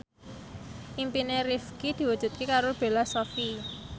impine Rifqi diwujudke karo Bella Shofie